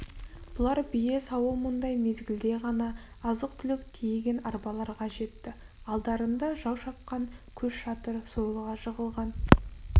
бұлар бие сауымындай мезгілде ғана азық-түлік тиеген арбаларға жетті алдарында жау шапқан көш жатыр сойылға жығылған